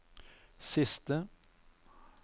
siste